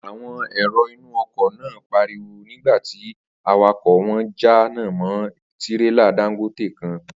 Àwo̩n èrò inú o̩kò̩ náà pariwo̩ nígbà tí awakò̩ wo̩n jánà mó̩ tírélà Dangote kan